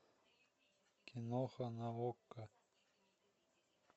киноха на окко